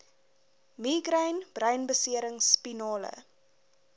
migraine breinbeserings spinale